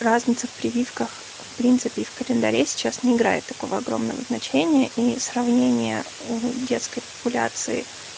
разница в прививках в принципе и в календаре сейчас не играет такого огромного значения и сравнения у детской популяции